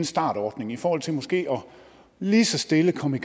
startordning i forhold til måske lige så stille at komme i